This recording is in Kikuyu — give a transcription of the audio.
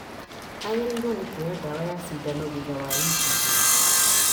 Agĩrĩirwo nĩ kuoya ndawa ya cindano thutha wa wiki igĩrĩ